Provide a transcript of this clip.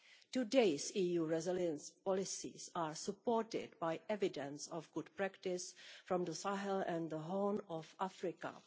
Today's EU resilience policies are supported by evidence of good practice from the Sahel and the Horn of Africa.